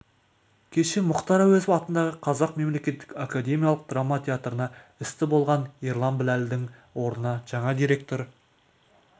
кеше мұхтар әуезов атындағы қазақ мемлекеттік академиялық драма театрына істі болған ерлан біләлдің орынына жаңа директор